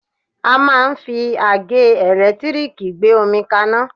A máà ń fi àgẹ́ ẹ̀lẹ́tírìkì gbé omi kaná.